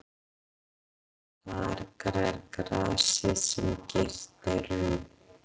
Þar grær grasið sem girt er um.